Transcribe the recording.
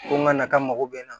Ko n ka na ka n mago bɛ n na